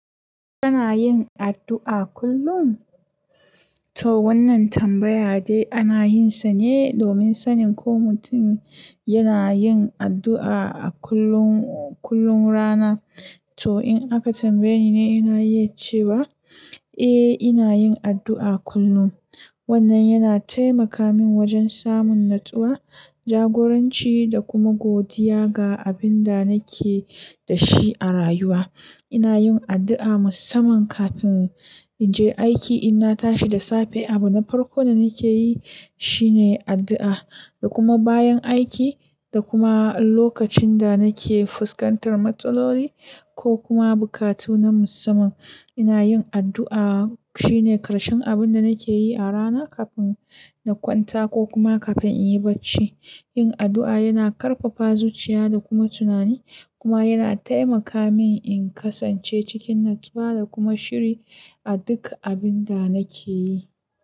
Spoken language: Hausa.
Kana yin addu'a kullum? To wannan tambaya dai ana yin sa ne domin sanin ko mutum yana yin addu'a a kullum, kullum rana. To in aka tambaye ni, ina iya cewa eh, ina yin addu'a kullum. Wannan yana taimaka min wajen samun natsuwa, jagoranci da kuma godiya ga abin da nake da shi a rayuwa. Ina yin addu'a musamman kafin in je aiki, ina tashi da safe. Abin na farko da nake yi shine addu'a da kuma bayan aiki da kuma lokacin da nake fuskantar matsaloli ko kuma buƙatu na musamman. Ina yin addu'a shine ƙarshen abin da nake yi a rana kafin na kwanta ko kuma kafin in yi barci. Yin addu'a yana ƙarfafa zuciya da kuma tunani kuma yana taimaka min in kasance cikin natsuwa da kuma shiri a duka abin da nake yi.